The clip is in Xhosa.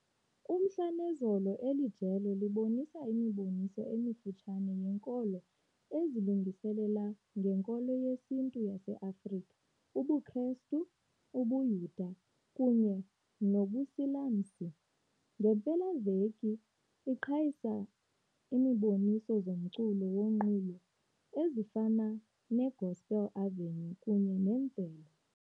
Umhla nezolo eli jelo libonisa imiboniso emifutshane yenkolo ezilungiselela ngeNkolo yesiNtu yaseAfrika ubuKristu, ubuYuda kunye nobuSilamsi. Ngeempelaveki iqhayisa imiboniso zomculo wonqulo ezifana neGospel Avenue kunye ne Mvelo.